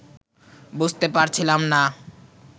বুঝতে পারছিলাম না